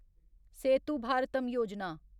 Setu Bharatam Yojana